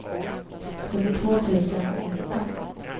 trettiotvå tusen nitton